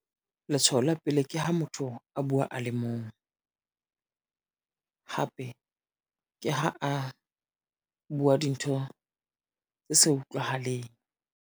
Letshoho la pele ke ho motho a buwa a le mong. Hape ke ha a buwa dintho tse sa utlwahaleng.